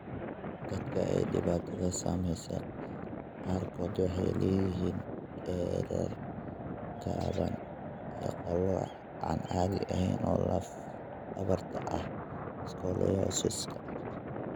Dadka ay dhibaatadu saameysey qaarkood waxay leeyihiin dherer gaaban iyo qalooc aan caadi ahayn oo lafdhabarta ah (scoliosis).